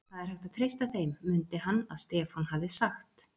Það er hægt að treysta þeim, mundi hann að Stefán hafði sagt.